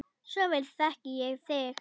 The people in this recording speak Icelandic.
Svo vel þekki ég þig.